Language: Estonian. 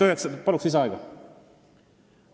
Palun lisaaega!